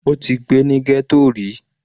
Ó ti gbé ní ghetto ríi.